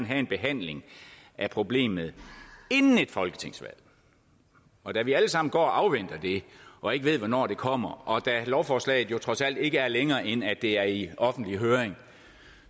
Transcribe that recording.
have en behandling af problemet inden et folketingsvalg og da vi alle sammen går og afventer det og ikke ved hvornår det kommer og da lovforslaget jo trods alt ikke er længere end at det er i offentlig høring